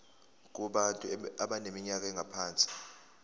kubantu abaneminyaka engaphansi